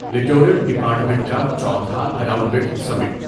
littoral department کا چوتھا اراونڈڈسمنٹ